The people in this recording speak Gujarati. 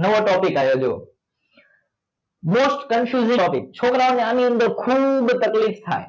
નવો topic આવ્યો જોવો most confusing topic છોકરાઓ ને આની અંદર ખુબ તકલીફ થાય